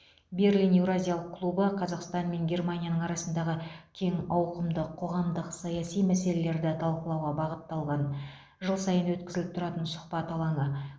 берлин еуразиялық клубы қазақстан мен германия арасындағы кең ауқымды қоғамдық саяси мәселелерді талқылауға бағытталған жыл сайын өткізіліп тұратын сұхбат алаңы